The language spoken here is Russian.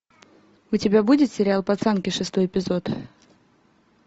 у тебя будет сериал пацанки шестой эпизод